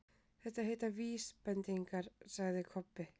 Það heita VÍSbendingar, sagði Kobbi.